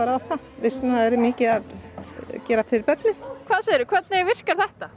á það vissum að það yrði mikið að gera fyrir börnin hvað segir þú hvernig virkar þetta